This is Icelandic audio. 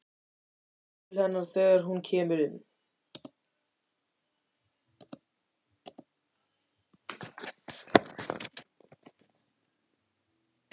Hún brosir til hennar þegar hún kemur inn.